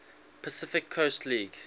pacific coast league